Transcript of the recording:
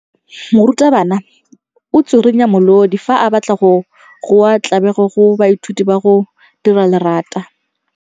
Morutwabana o tswirinya molodi fa a batla go goa tlabego go baithuti ba go dira lerata.